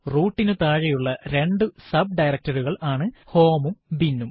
root നു താഴെയുള്ള രണ്ടു sub directory കൾ ആണ് home ഉം bin ഉം